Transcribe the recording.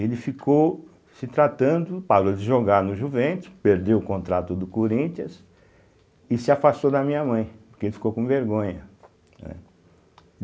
Ele ficou se tratando, parou de jogar no Juventus, perdeu o contrato do Corinthians e se afastou da minha mãe, porque ele ficou com vergonha, né.